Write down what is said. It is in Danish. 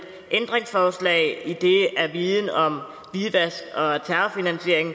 ændringsforslag idet viden om hvidvask og terrorfinansiering